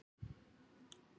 Enginn þeirra er kona.